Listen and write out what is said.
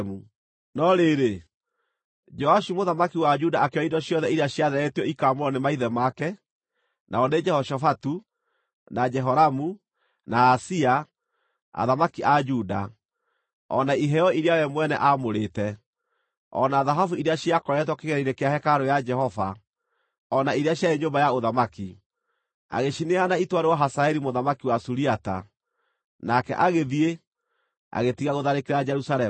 No rĩrĩ, Joashu mũthamaki wa Juda akĩoya indo ciothe iria ciatheretio ikaamũrwo nĩ maithe make, nao nĩ Jehoshafatu, na Jehoramu na Ahazia, athamaki a Juda o na iheo iria we mwene aamũrĩte, o na thahabu iria ciakoretwo kĩgĩĩna-inĩ kĩa hekarũ ya Jehova, o na iria ciarĩ nyũmba ya ũthamaki, agĩcineana itwarĩrwo Hazaeli mũthamaki wa Suriata, nake agĩthiĩ, agĩtiga gũtharĩkĩra Jerusalemu.